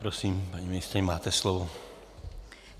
Prosím, paní ministryně, máte slovo.